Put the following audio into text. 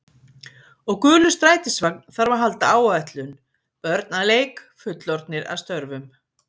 Og gulur strætisvagn þarf að halda áætlun, börn að leik, fullorðnir að störfum.